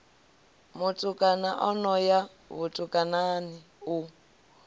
mutukana ano ya vhutukani u